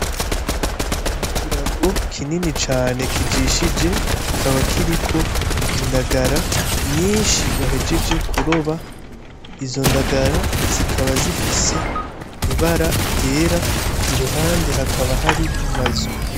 Ni ikirago kinini cane kijishije kikaba kiriko indagara nyinshi bahejeje kuroba, izo ndagara zikaba zifise ibara ryera iruhande hakaba hari n'amazu.